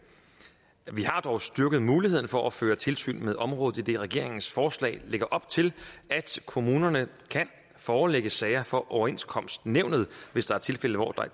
vi har dog styrket mulighederne for at føre tilsyn med området idet regeringens forslag lægger op til at kommunerne kan forelægge sager for overenskomstnævnet hvis der er tilfælde hvor